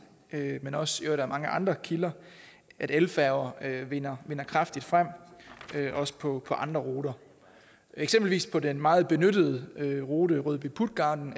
men også af mange andre kilder at elfærger vinder kraftigt frem også på andre ruter eksempelvis på den meget benyttede rute rødby puttgarden